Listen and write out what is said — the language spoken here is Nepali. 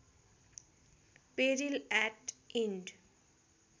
पेरिल याट इन्ड